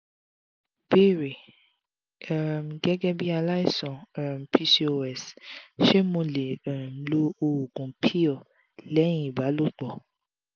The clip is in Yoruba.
ìbéèrè: um gẹgẹ́bí alaisan um pcos ṣé mo lè um lo oògùn pill lẹ́yìn ìbálòpọ̀?